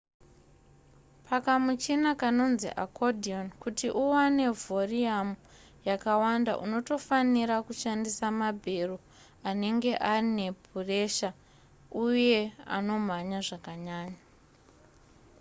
pakamuchina kanonzi accordion kuti uwane vhoriyamu yakawanda unotofanira kushandisa mabhero anenge aine puresha uye anomhanya zvakanyanya